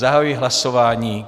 Zahajuji hlasování.